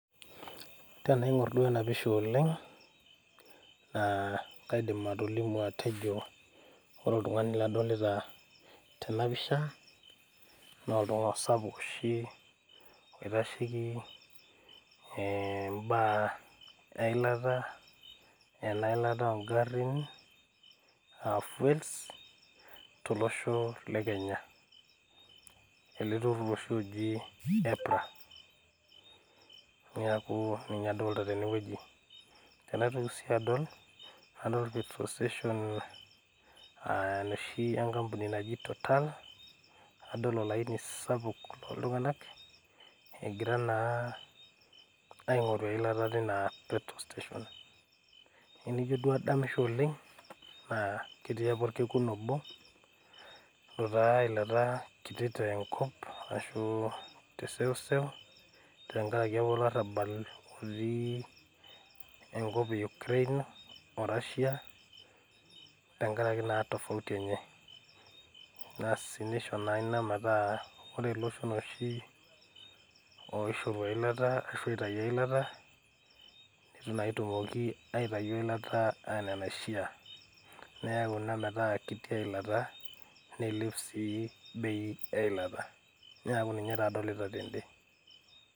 Tenaing'orr duo ena pisha oleng naa kaidim atolimu atejo ore oltung'ani ladolita tena pisha nolduka sapuk oshi oitasheki eh imbaa eilata ena ilata ongarrin aa fuels tolosho le kenya ele turrur oshi oji EPRA niaku ninye adolta tenewueji tenaitoki sii adol nadol petrol station uh enoshi enkampuni naji total nadol olaini sapuk loltung'anak egira naa aing'oru eilata teina petrol station enijio duo adamisho oleng naa ketii apa orkekun obo lotaa eilata kiti tenkop ashu te seuseu tenkaraki olarrabal otii enkop e Ukraine o Russia tenkarake naa tofauti enye asi nisho naa ina metaa ore iloshon oshi oishoru eilata ashu eitayu eilata ashu oitayu eilata netu naa etumoki aitayu eilata enaa enaishia neyau ina metaa ketii eilata neilep sii bei eilata niaku ninye taa adolita tende.